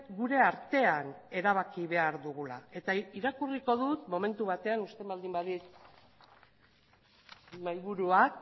gure artean erabaki behar dugula eta irakurriko dut momentu batean uzten baldin badit mahaiburuak